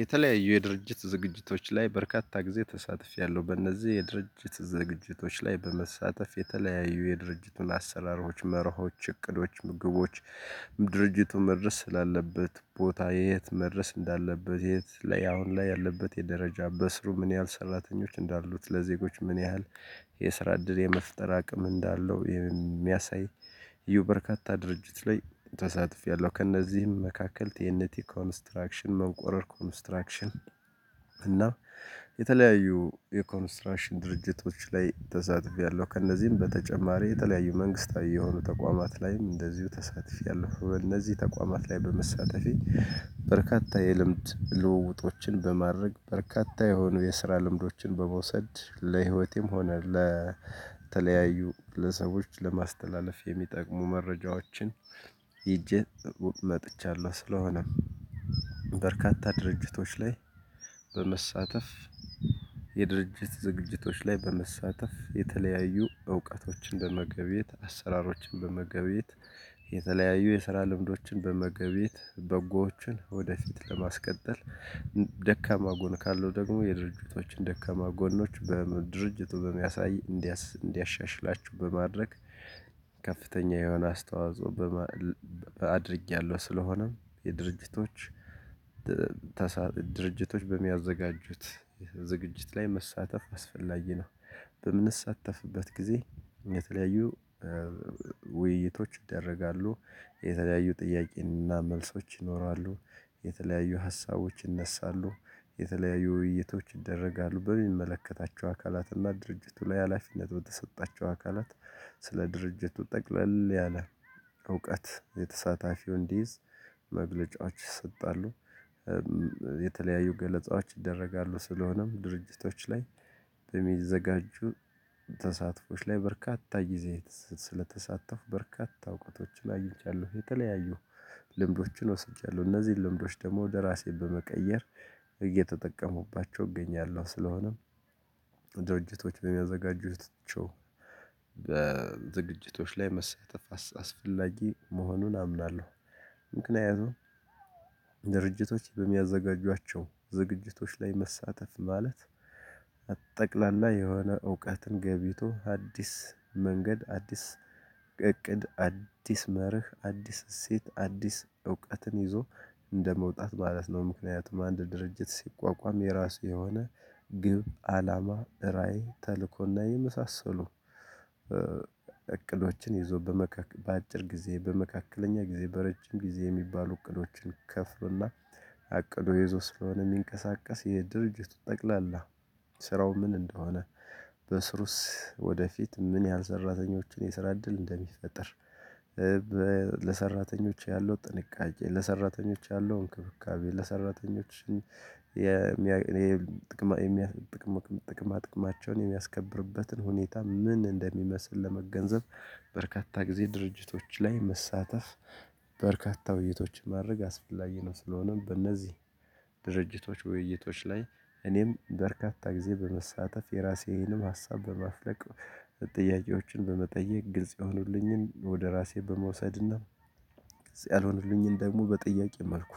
የተለያዩ የድርጅት ዝግጅቶች ላይ በርካታ ጊዜ ተሳትፊያለሁ በእነዚህ የድርጅት ዝግጅቶች ላይ በመሳተፍ የተለያዩ የድርጅቱን አሰራሮች መርሆች እቅዶች ግቦች። ድርጅቱን መድረስ ስላለበት ቦታ የት መድረስ እንዳለበት የት ለያሁን ላይ ያለበት የደረጃ በስሩ ምን ያህል ሰራተኞች እንዳሉት ለዜጎች ምን ያህል የስራ እድል የመፍጠር አቅም እንዳለው የሚያሳይ። እዩ በርካታ ድርጅት ላይ ተሳትፌያለሁ ከእነዚህም መካከል ቲኤንቲ ኮንስትራክሽን መቆረር ኮንስትራክሽን እና የተለያዩ የኮንስትራክሽን ድርጅቶች ላይ ተሳትፊያለሁ ከእነዚህም በተጨማሪ የተለያዩ መንግስታዊ የሆኑ ተቋማት ላይም እንደዚሁ ተሳትፊያለሁ። እነዚህ ተቋማት ላይ በመሳተፊያ በርካታ የልምድ ልውውጦችን በማድረግ በርካታ የሆኑ የስራ ልምዶችን በመውሰድ ለህይወቴም ሆነ ለተለያዩ ለሰዎች ለማስተላለፍ የሚጠቅሙ መረጃዎችን። ይዤ መጥቻለሁ። ስለሆነም በርካታ ድርጅቶች ላይ በመሳተፍ የድርጅት ዝግጅቶች ላይ በመሳተፍ የተለያዩ እውቀቶችን በመገብየት አሰራሮችን በመገብየት። የተለያዩ የስራ ልምዶችን በመገብየት በጎዎችን ወደፊት ለማስቀጠል። ደካማ ጎን ካለው ደግሞ የድርጅቶችን ደካማ ጎኖች በድርጅቱ በሚያሳይ እንዲያሻሽላችው በማድረግ ከፍተኛ የሆነ አስተዋጽኦ። አድርጌያለሁ። ስለሆነም የድርጅቶች ድርጅቶች በሚያዘጋጁት ዝግጅት ላይ መሳተፍ አስፈላጊ ነው። በምንሳተፍበት ጊዜ የተለያዩ ውይይቶች ይደረጋሉ። የተለያዩ ጥያቄንና መልሶች ይኖራሉ። የተለያዩ ሀሳቦች ይነሳሉ። የተለያዩ ውይይቶች ይደረጋሉ በሚመለከታቸው አካላትና ድርጅቱ ላይ ሀላፊነቱ በተሰጣቸው አካላት። ስለ ድርጅቱ ጠቅለል ያለ እውቀት የተሳታፊው እንዲይዝ መግለጫዎች ይሰጣሉ። የተለያዩ ገለጻዎች ይደረጋሉ ስለሆነም ድርጅቶች ላይ የሚዘጋጁ ተሳትፎች ላይ በርካታ ግዜ ስለተሳተፉ በርካታ እውቀቶችን አይቻለሁ። የተለያዩ ልምዶችን ወስጃለሁ። እነዚህን ልምዶች ደግሞ ወደ ራሴ በመቀየር እየተጠቀሙባቸው እገኛለሁ። ስለሆነም ድርጅቶች በሚያዘጋጁት ዝግጅቶች ላይ መሳተፍ አስፈላጊ መሆኑን አምናለሁ። ምክንያቱም ድርጅቶች በሚያዘጋጇቸው ዝግጅቶች ላይ መሳተፍ ማለት አ ጠቅላላ የሆነ እውቀትን ገብይቶ አዲስ መንገድ አዲስ እቅድ አዲስ መርህ አዲስ እሴት አዲስ እውቀትን ይዞ እንደመውጣት ማለት ነው። ምክንያቱም አንድ ድርጅት ሲቋቋም የራሱ የሆነ ግብ አላማ ራዕይ ተልእኮና የመሳሰሉ እቅዶችን ይዞ በአጭር ጊዜ በመካከለኛ ጊዜ በረጅም ጊዜ የሚባሉ እቅዶችን ከፍሎና አቅዶ ይዞ ስለሆነ የሚንቀሳቀስ የድርጅቱ ጠቅላላ ስራው ምን እንደሆነ በስሩስ ወደፊት ምን ያህል ሰራተኞችን የስራ እድል እንደሚፈጠር። ለሰራተኞች ያለው ጥንቃቄ ለሰራተኞች ያለው እንክብካቤ ለሰራተኞች የሚያስገኝ ጥቅም ጥቅማቸውን የሚያስከብርበትን ሁኔታ ምን እንደሚመስል ለመገንዘብ። በርካታ ጊዜ ድርጅቶች ላይ መሳተፍ በርካታ ውይይቶችን ማድረግ አስፈላጊ ነው። ስለሆነም በእነዚህ ድርጅቶች ውይይቶች ላይ እኔም በርካታ ጊዜ በመሳተፍ የራሴንም ሀሳብ በማፍለቅ ጥያቄዎችን በመጠየቅ ግልጽ የሆኑልኝን ወደ ራሴ በመውሰድና እዚያ ያልሆኑልኝን ደግሞ በጥያቄ መልኩ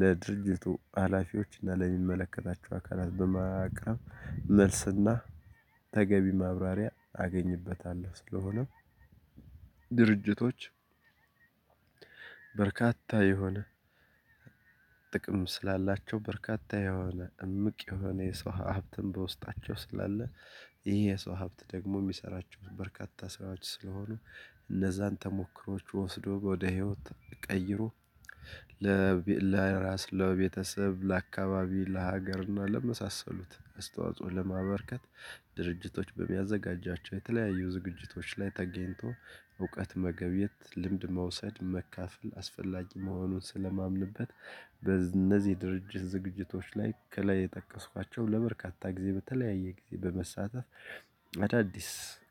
ለድርጅቱ ሀላፊዎች እና ለሚመለከታቸው አካላት በማቅረብ መልስና ተገቢ ማብራሪያ አገኝበታለሁ። ስለሆነም ድርጅቶች በርካታ የሆነ ጥቅም ስላላቸው በርካታ የሆነ እምቅ የሆነ የሰው ሀብትን በውስጣቸው ስላለ ይሄ የሰው ሀብት ደግሞ የሚሰራቸው በርካታ ስራዎች ስለሆኑ። እነዛን ተሞክሮዎች ወስዶ ወደ ህይወት ቀይሮ ለራስ ለቤተሰብ ለአካባቢ ለሀገር እና ለመሳሰሉት አስተዋጽኦ ለማበርከት። ድርጅቶች በሚያዘጋጃቸው የተለያዩ ዝግጅቶች ላይ ተገኝቶ እውቀት መገብየት ልምድ መውሰድ መካፈል አስፈላጊ መሆኑን ስለማምንበት። በእነዚህ ድርጅት ዝግጅቶች ላይ ከላይ የጠቀስኳቸው ለበርካታ ጊዜ በተለያየ ጊዜ በመሳተፍ አዳዲስ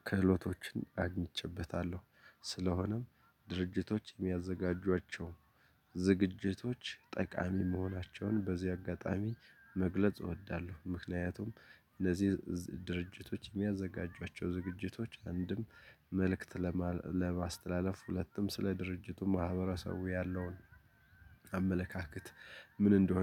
ክህሎቶችን አግኝቼበታለሁ። ስለሆነም ድርጅቶች የሚያዘጋጇቸው ዝግጅቶች ጠቃሚ መሆናቸውን በዚህ አጋጣሚ መግለጽ እወዳለሁ። ምክንያቱም እነዚህ ድርጅቶች የሚያዘጋጇቸው ዝግጅቶች አንድም መልእክት ለማስተላለፍ ሁለቱም ስለ ድርጅቱ ማህበረሰቡ ያለውን አመለካከት ምን እንደሆነ